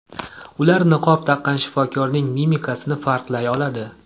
Ular niqob taqqan shifokorning mimikasini farqlay oladi.